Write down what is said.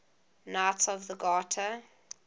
knights of the garter